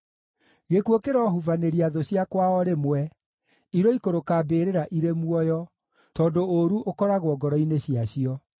Gĩkuũ kĩrohubanĩria thũ ciakwa o rĩmwe; iroikũrũka mbĩrĩra irĩ muoyo, tondũ ũũru ũkoragwo ngoro-inĩ ciacio.